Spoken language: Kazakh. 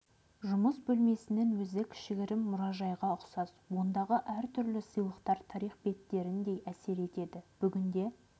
жұмыс бөлмесінің өзі кішігірім мұражайға ұқсас ондағы әртүрлі сыйлықтар тарих беттеріндей әсер етеді бүгінде